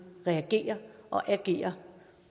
reagere og agere